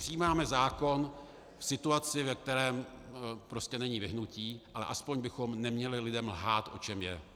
Přijímáme zákon v situaci, ve které prostě není vyhnutí, ale aspoň bychom neměli lidem lhát, o čem je.